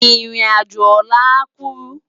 Irin ájó òlà á kúrú